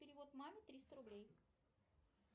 перевод маме триста рублей